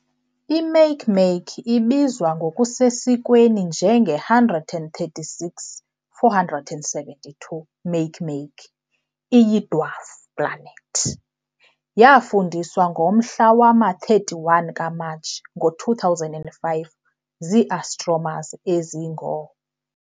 I-Makemake, ibizwa ngokusesikweni njenge-136472 Makemake, iyi-dwarf planet. Yaafundiswa ngomhla wama-31 kaMatshi ngo-2005 zii-astronomers ezingoo-